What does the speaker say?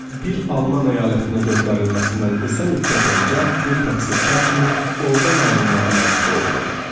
Bir Alman əyalətinə göndərilməsindən qısa müddət öncə bir təqsirkar kimi ordan ayrılmağa məcbur oldum.